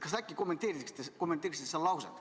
" Kas äkki kommenteeriksite seda lauset?